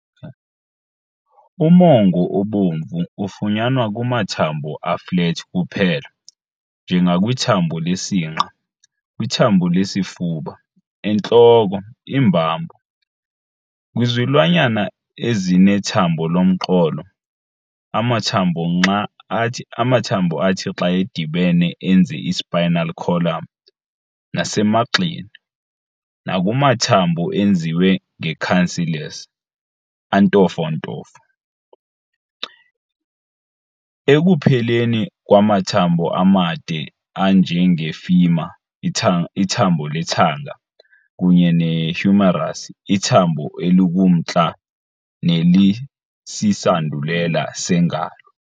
Umongo obomvu ufunyanwa kumathambo a-flat kuphela - njengakwithambo lesinqa, kwithambo lesifuba, entloko, iimbambo, kwizilwanyana ezinethambo lomqolo, amathambo athi xa edibene enze i-spinal column, nasemagxeni - nakumathambo enziwe nge-cancellous, "antofontofo", ekupheleni kwamathambo amade anje nge-femur, ithambo lethanga, kunye ne-humerus, ithambo elikumntla nelisisandulela sengalo.